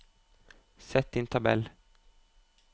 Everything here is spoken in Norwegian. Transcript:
Sett inn tabell